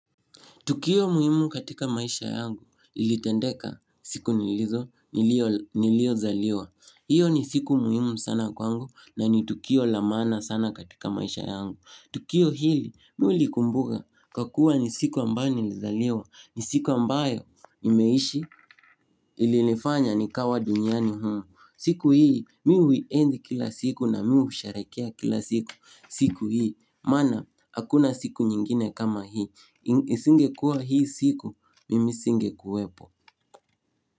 Tukio muhimu katika maisha yangu, ilitendeka siku nilizo, niliyo zaliwa. Iyo ni siku muhimu sana kwangu na ni tukio la maana sana katika maisha yangu. Tukio hili, mi hulikumbuga kwa kuwa ni siku ambayo nilizaliwa, ni siku ambayo nimeishi ilifanya nikawa duniani humu. Siku hii, mi uhienzi kila siku na mi husherekea kila siku. Siku hii, maana, hakuna siku nyingine kama hii. Isingekua hii siku, mimi singekuwepo.